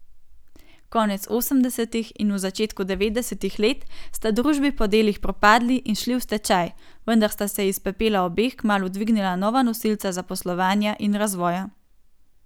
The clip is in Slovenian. Konec osemdesetih in v začetku devetdesetih let sta družbi po delih propadli in šli v stečaj, vendar sta se iz pepela obeh kmalu dvignila nova nosilca zaposlovanja in razvoja.